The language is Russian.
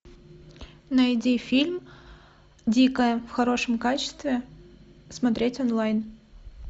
найди фильм дикая в хорошем качестве смотреть онлайн